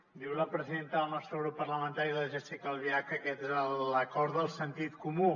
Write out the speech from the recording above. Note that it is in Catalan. diu la presidenta del nostre grup parlamentari la jéssica albiach que aquest és l’acord del sentit comú